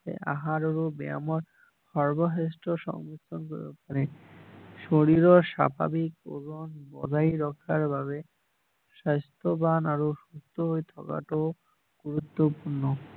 আহাৰ আৰু ব্যায়ামৰ সৰ্বশ্ৰেষ্ঠ পাৰে শৰীৰৰ স্বাভাৱিক ওজন বঢ়াই ৰখাৰ বাবে স্বাস্থ্য বান আৰু সুস্থ হৈ থকাটো গুৰুত্বপূৰ্ণ